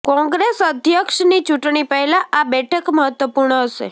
કોંગ્રેસ અધ્યક્ષની ચૂંટણી પહેલા આ બેઠક મહત્વપુર્ણ હશે